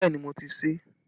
Bẹẹ ni, mo ti ṣe é